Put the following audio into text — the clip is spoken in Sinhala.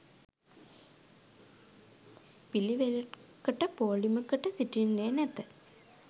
පිළිවෙළකට පෝලිමකට සිටින්නේ නැත